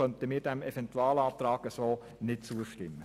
Deshalb können wir diesem Eventualantrag nicht zustimmen.